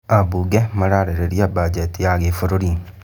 Ambunge mararĩrĩria bajeti ya gĩbũrũri